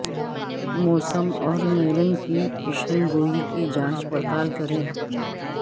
موسم اور میرین کی پیشن گوئی کی جانچ پڑتال کریں